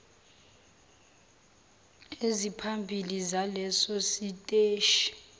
eziphambili zaleso siteshi